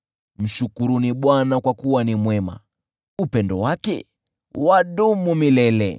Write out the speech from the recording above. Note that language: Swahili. Mshukuruni Bwana kwa kuwa ni mwema; upendo wake wadumu milele.